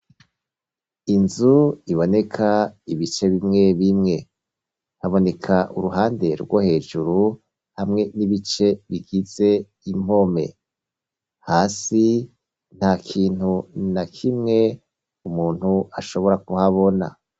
Inzu iboneka ibice bimwe bimwe haboneka uruhande rwo hejuru hamwe n'ibice bikitse, impome hasi nta kintu na kimwe umuntu ashobora kuhabona.